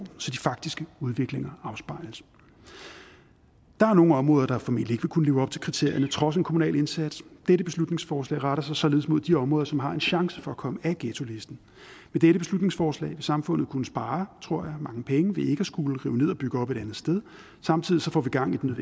så de faktiske udviklinger afspejles der er nogle områder der formentlig ikke vil kunne leve op til kriterierne trods en kommunal indsats dette beslutningsforslag retter sig således mod de områder som har en chance for at komme af ghettolisten med dette beslutningsforslag vil samfundet kunne spare tror jeg mange penge ved ikke at skulle rive ned og bygge op et andet sted samtidig får vi gang i den